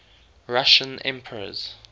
russian emperors